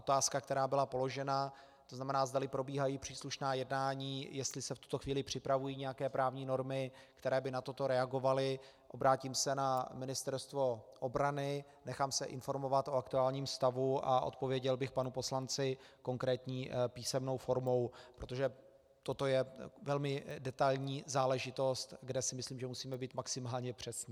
Otázka, která byla položena, to znamená, zdali probíhají příslušná jednání, jestli se v tuto chvíli připravují nějaké právní normy, které by na toto reagovaly, obrátím se na Ministerstvo obrany, nechám se informovat o aktuálním stavu a odpověděl bych panu poslanci konkrétní písemnou formou, protože toto je velmi detailní záležitost, kde si myslím, že musíme být maximálně přesní.